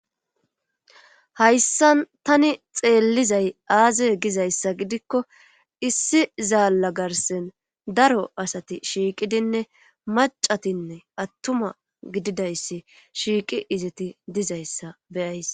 hayssan tani xeellizay aze gizayssa gidikko issi zalla garsen daro asati shiiqidinne macatinne attuma gididayssi shiiqi izeti dizayssa beyays.